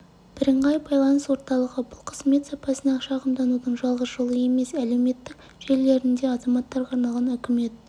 бірыңғай байланыс орталығы бұл қызмет сапасына шағымданудың жалғыз жолы емес және әлеуметтік желілерінде азаматтарға арналған үкімет